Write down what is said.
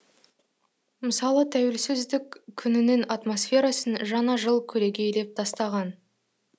мысалы тәуелсіздік күнінің атмосферасын жаңа жыл көлегейлеп тастаған